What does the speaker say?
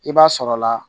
I b'a sɔrɔ la